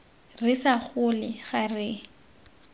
re sa gole ga re